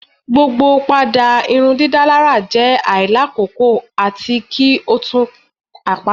Gbogbo pada irundidalara jẹ ailakoko ati ki o tun apata